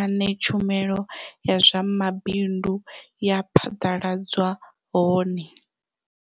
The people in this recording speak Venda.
ane tshumelo ya zwa mabindu ya phaḓaladzwa hone.